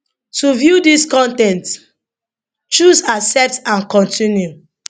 to view dis con ten t choose accept and continue